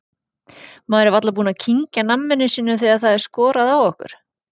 Maður er varla búinn að kyngja namminu sínu þegar það er skorað á okkur.